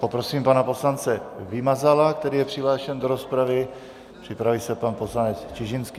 Poprosím pana poslance Vymazala, který je přihlášen do rozpravy, připraví se pan poslanec Čižinský.